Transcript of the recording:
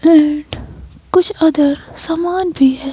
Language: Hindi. दैट कुछ अदर सामान भी है।